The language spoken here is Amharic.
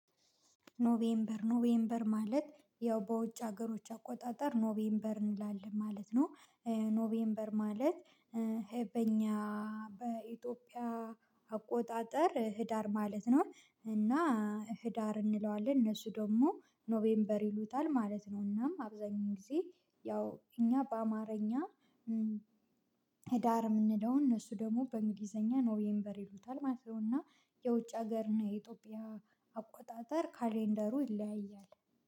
ኖቬምበር ኖቬምበር ማለት ያው በውጭ ሀገሮች አቆጣጠር ኖቬምበር እንላለን ማለት ነው። ኖቬምበር ማለት በእኛ በኢትዮጵያ አቆጣጠር ህዳር ማለት ነው። እና ህዳር እንለዋለን እነሱ ደግሞ ኖቬምበር ይሉታል ማለት ነው። እናም አብዛኛው ጊዜ ያው እኛ በአማርኛ ህዳር የምንለውን እነሱ ደግሞ በእንግሊዘኛ ኖቬምበር ይሉታል ማለት ነው። እና የውጭ ሀገር እና የኢትዮጵያ አቆጣጠር ካሌንደሩ ይለያያል።